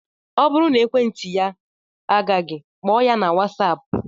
Ọ bụrụ na ekwentị ya agaghị, kpọọ ya na whatsapp